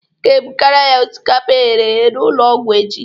Ị ga-ebugara ya osikapa eghere eghe n'ụlọ ọgwụ echi